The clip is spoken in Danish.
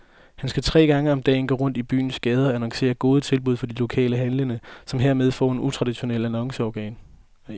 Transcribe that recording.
Han skal tre gange om dagen gå rundt i byens gader og annoncere gode tilbud fra de lokale handlende, som hermed får et utraditionelt annonceorgan.